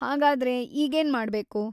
ಹಾಗಾದ್ರೆ, ಈಗೇನ್‌ ಮಾಡ್ಬೇಕು?